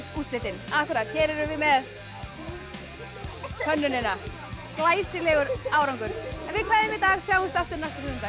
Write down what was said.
úrslitin hér erum við með hönnunina glæsilegur árangur en við kveðjum í dag sjáumst aftur næsta sunnudag